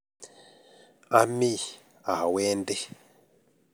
Ami awendi